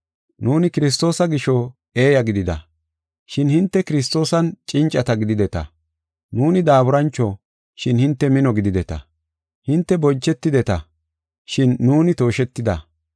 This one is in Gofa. Nuuni Kiristoosa gisho eeya gidida, shin hinte Kiristoosan cincata gidideta. Nuuni daaburancho, shin hinte mino gidideta. Hinte bonchetideta, shin nuuni tooshetida.